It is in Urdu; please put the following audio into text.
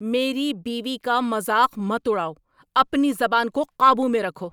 میری بیوی کا مذاق مت اڑاؤ! اپنی زبان کو قابو میں رکھو!